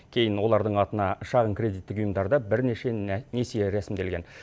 кейін олардың атына шағын кредиттік ұйымдарда бірнеше несие рәсімделген